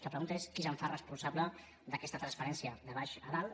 la pregunta és qui es fa responsable d’aquesta transferència de baix a dalt